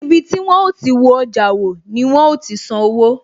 Ibi tí wón ó ti wo ọjà wò, ni wọn ó ti san owó